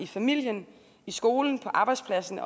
familien i skolen på arbejdspladsen